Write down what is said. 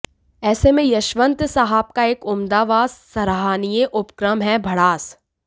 ऐसे में यशवंत साहब का एक उम्दा व सराहनीय उपक्रम है भड़ास